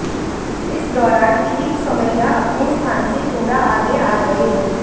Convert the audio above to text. इस दौरान किरीट सोमैया अपने स्थान से थोड़ा आगे आ गए